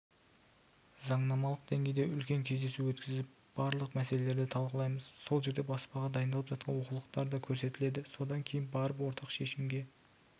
заңнамалық деңгейде үлкен кездесу өткізіп барлық мәселелерді талқылаймыз сол жерде баспаға дайындалып жатқан оқулықтар да көрсетіледі содан кейін барып ортақ шешімге